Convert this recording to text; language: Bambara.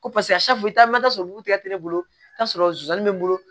Ko paseke bulu tigɛ ne bolo i bi t'a sɔrɔ zonzani be n bolo